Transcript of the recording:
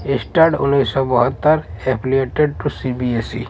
स्टाड उन्नीस सौ बहत्तर एफ़िलिएटेड टू सी_बी_एस_ई --